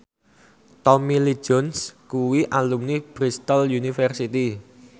Tommy Lee Jones kuwi alumni Bristol university